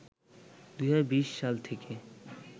২০২০ সাল থেকে